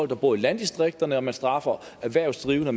der bor i landdistrikterne og man straffer erhvervsdrivende